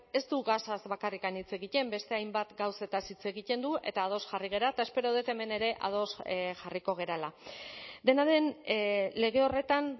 ez du gasaz bakarrik hitz egiten beste hainbat gauzetaz hitz egiten du eta ados jarri gara eta espero dut hemen ere ados jarriko garela dena den lege horretan